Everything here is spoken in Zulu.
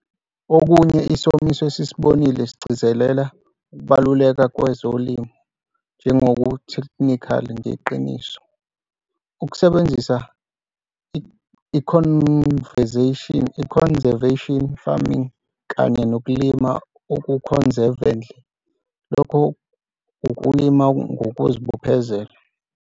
Okunye, isomiso esisibonile sigcizelela ukubaluleka kwezolimo njengoku-thekhnikhali ngeqiniso, ukusebenzisa i-conservation farming kanye nokulima oku-conservatively, lokho ukulima ngokuzibophezela.